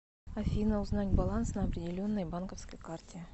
афина узнать баланс на определенной банковской карте